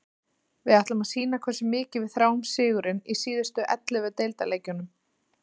Við ætlum að sýna hversu mikið við þráum sigurinn í síðustu ellefu deildarleikjunum.